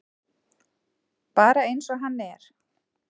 Bara eins og hann er.